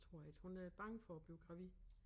Det tror jeg ikke hun er bange for at blive gravid